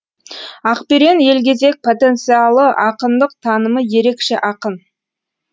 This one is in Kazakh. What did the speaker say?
ақберен елгезек потенциалы ақындық танымы ерекше ақын